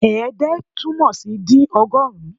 Ẹ̀ẹ́dẹ́ túmọ̀ sí dín ọgọ́rùn-ún